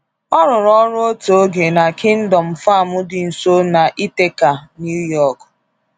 O rụrụ ọrụ otu oge na Kingdom Farm dị nso na Ithaca, New York.